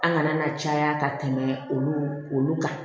An kana na caya ka tɛmɛ olu olu kan